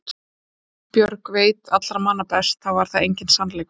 En einsog Ísbjörg veit allra manna best þá var það enginn sannleikur.